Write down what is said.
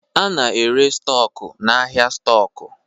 A na-ere stọku n'ahịa stọkụ.